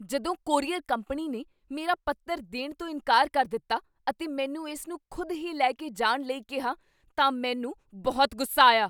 ਜਦੋਂ courier company ਨੇ ਮੇਰਾ ਪੱਤਰ ਦੇਣ ਤੋਂ ਇਨਕਾਰ ਕਰ ਦਿੱਤਾ ਅਤੇ ਮੈਨੂੰ ਇਸ ਨੂੰ ਖੁਦ ਹੀ ਲੈ ਕੇ ਜਾਣ ਲਈ ਕਿਹਾ ਤਾਂ ਮੈਨੂੰ ਬਹੁਤ ਗੁੱਸਾ ਆਇਆ।